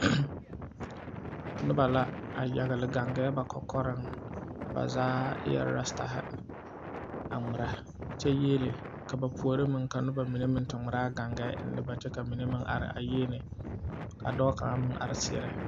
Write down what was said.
Nobɔ la a yagle gaŋgaɛ ba kɔkɔreŋ ba zaa eɛɛ rastahi a ngmirɛ kyɛ yiele ka puore meŋ ka nobɔ mine meŋ ngmiraa gaŋgaɛ eŋnɛ ba kyɛ ka mine meŋ are a yiele ka dɔɔ kaŋa meŋ re seɛrɛ.